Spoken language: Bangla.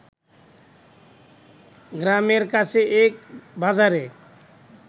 গ্রামের কাছে এক বাজারে